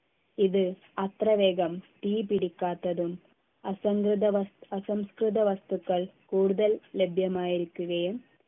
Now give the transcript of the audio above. ഇത് അത്രവേഗം തീപിടിക്കാത്തതും അസംകൃത വസ് അസംസ്കൃത വസ്തുക്കൾ കൂടുതൽ ലഭ്യമായിരിക്കുകയും